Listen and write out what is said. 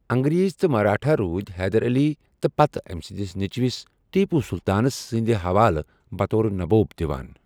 انگریز تہٕ مرٲٹھا روُدِ حیدر علی تہٕ پتہٕ أمہِ سٕنٛدِس نیٚچوِس ٹیپوٗ سُلطانس سٖٗند حوالہٕ بطور 'نبوب' دِوان ۔